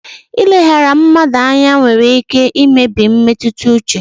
Ileghara mmadụ anya nwere ike imebi mmetụta uche.